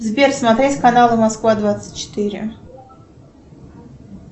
сбер смотреть канал москва двадцать четыре